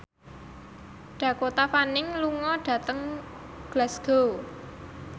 Dakota Fanning lunga dhateng Glasgow